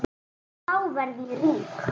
Þá verð ég rík.